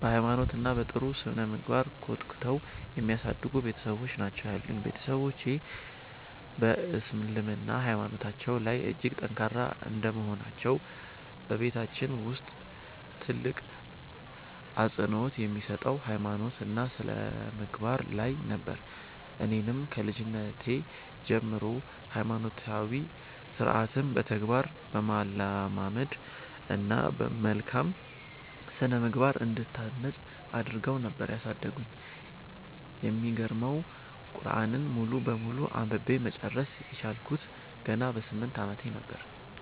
በ ሃይማኖት እና በ ጥሩ ስነምግባር ኮትኩተው የሚያሳድጉ ቤትሰቦች ናቸው ያሉኝ። ቤትሰቦቼ በ እስልምና ሃይማኖታቸው ላይ እጅግ ጠንካራ እንደመሆናቸው በቤታችን ውስጥ ትልቅ አፅንኦት የሚሰጠው ሃይማኖት እና ስነምግባር ላይ ነበር። እኔንም ከልጅነቴ ጀምሮ ሃይማኖታዊ ስርዓትን በተግባር በማለማመድ እና በመልካም ስነምግባር እንድታነፅ አድረገው ነበር ያሳደጉኝ። የሚገርመው ቁርዐንን ሙሉ በሙሉ አንብቤ መጨረስ የቻልኩት ገና በ 8 አመቴ ነበር።